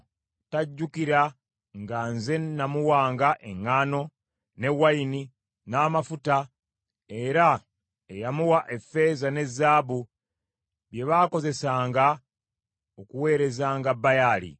Tajjukira nga nze namuwanga eŋŋaano, ne wayini n’amafuta, era eyamuwa effeeza ne zaabu bye baakozesanga okuweerezanga Baali.